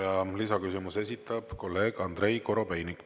Ja lisaküsimuse esitab kolleeg Andrei Korobeinik.